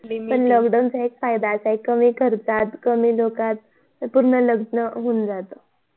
पण lockdown चा फायदा एक असा आहे कमी खर्चात कमी लोकात पूर्ण लग्न होऊन जात